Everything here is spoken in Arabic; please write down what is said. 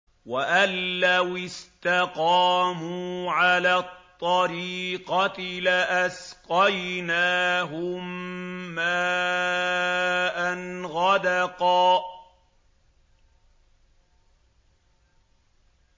وَأَن لَّوِ اسْتَقَامُوا عَلَى الطَّرِيقَةِ لَأَسْقَيْنَاهُم مَّاءً غَدَقًا